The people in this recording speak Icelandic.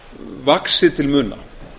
vaxið til muna